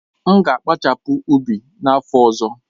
M ga-akpachasi ụbi n'afọ ọzọ.